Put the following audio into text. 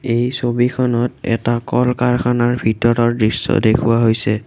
এই ছবিখনত এটা কল-কাৰখানাৰ ভিতৰৰ দৃশ্য দেখুওৱা হৈছে।